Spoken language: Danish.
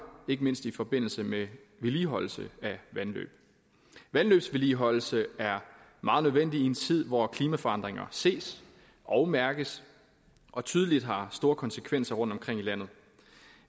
ikke mindst i forbindelse med vedligeholdelse af vandløb vandløbsvedligeholdelse er meget nødvendigt i en tid hvor klimaforandringer ses og mærkes og tydeligvis har store konsekvenser rundtomkring i landet